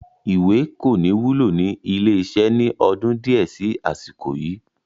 Ìwé kò ní wúlò ni ilé iṣẹ́ ni ọdún di ẹ síí àsìkò yìí